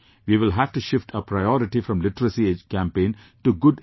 We will have to shift our priority from literacy campaign to good education